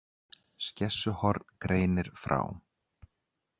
Skessuhorn greinir frá